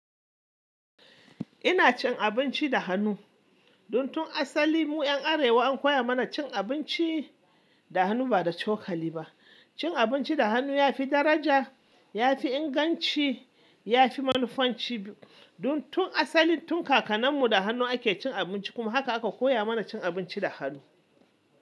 Ina cin abinci da hannu. Dun tun asali mu ƴan Arewa an koya mana cin abinci da hannu ba da cokali ba. Cin abinci da hannu ya fi daraja, ya fi inganci, ya fi manufanci. Dun tun asali tun kakannin mu da hannu ake cin abinci kuma haka aka koya mana cin abinci da hannu.